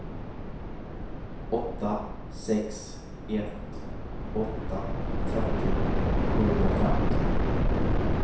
åtta sex ett åtta trettio sjuhundrafemton